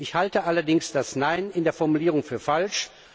Zweitens halte ich allerdings das Nein in der Formulierung für falsch.